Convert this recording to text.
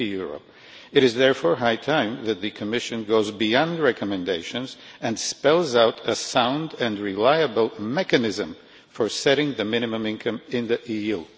60. It is therefore high time that the Commission went beyond recommendations and spelled out a sound and reliable mechanism for setting the minimum income in the EU.